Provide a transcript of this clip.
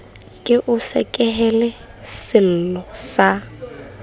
ke o sekehele sello sa